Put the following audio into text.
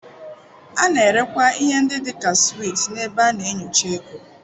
A na-erekwa ihe ndị dị ka sweets n'ebe a na-enyocha ego.